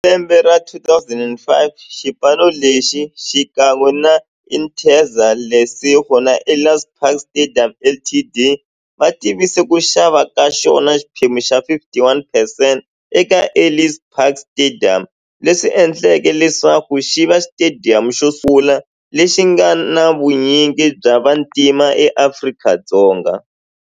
Hi lembe ra 2005, xipano lexi, xikan'we na Interza Lesego na Ellis Park Stadium Ltd, va tivise ku xava ka xona xiphemu xa 51 percent eka Ellis Park Stadium, leswi endleke leswaku xiva xitediyamu xosungula lexi nga na vunyingi bya vantima e Afrika-Dzonga.